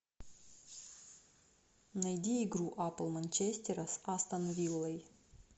найди игру апл манчестера с астон виллой